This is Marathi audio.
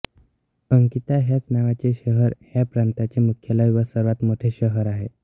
अकिता ह्याच नावाचे शहर ह्या प्रांताचे मुख्यालय व सर्वात मोठे शहर आहे